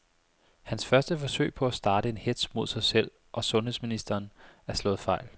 Hans første forsøg på at starte en hetz mod sig selv og sundheds ministeren er slået fejl.